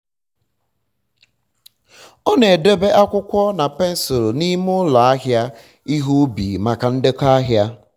ọ na-edobe akwụkwọ na pensụl n'ime ụlọ ahịa um ihe ubi maka um ndekọ ahịa